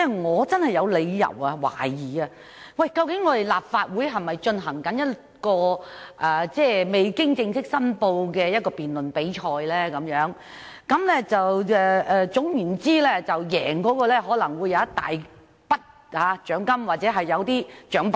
我真的有理由懷疑這兩天的辯論，立法會是否在進行一項未經正式申報的辯論比賽，其中的優勝者將可贏得一大筆獎金或獎品？